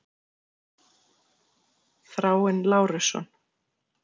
Þráinn Lárusson.